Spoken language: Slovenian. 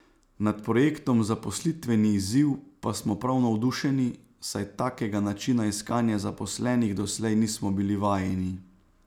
Nad projektom Zaposlitveni izziv pa smo prav navdušeni, saj takega načina iskanja zaposlenih doslej nismo bili vajeni.